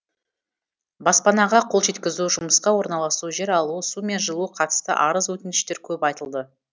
баспанаға қол жеткізу жұмысқа орналасу жер алу су мен жылуға қатысты арыз өтініштер көп айтылды